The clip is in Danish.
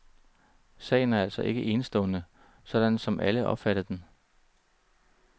Sagen er altså ikke enestående, sådan som alle opfattede den.